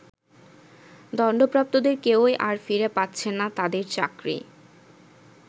দন্ডপ্রাপ্তদের কেউই আর ফিরে পাচ্ছেন না তাদের চাকরি।